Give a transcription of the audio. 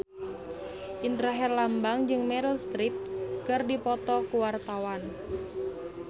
Indra Herlambang jeung Meryl Streep keur dipoto ku wartawan